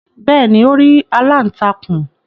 Bẹ́ẹ̀ni, Ó rí “aláǹtakùn".